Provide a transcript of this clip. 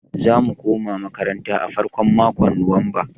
Za mu koma makaranta a farkon makon nuwamba.